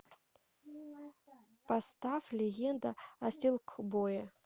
поставь легенда о силкбое